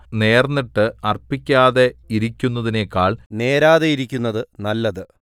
നേർന്നിട്ട് അർപ്പിക്കാതെ ഇരിയ്ക്കുന്നതിനെക്കാൾ നേരാതെയിരിക്കുന്നത് നല്ലത്